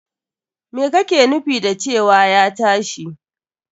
Me kake nufin da cewa ya tashi!